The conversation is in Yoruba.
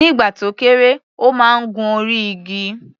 Nígbà tó kéré, ó máa ń gun orí igi.